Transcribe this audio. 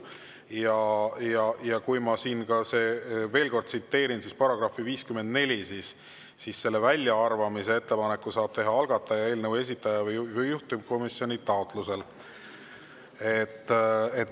Ma veel kord §-le 54, et väljaarvamise ettepaneku saab teha algataja, eelnõu esitaja või juhtivkomisjon.